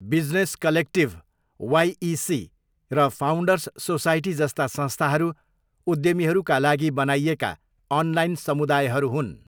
Business collective, YC र founders society जस्ता संस्थाहरू उद्यमीहरूका लागि बनाइएका अनलाइन समुदायहरू हुन्।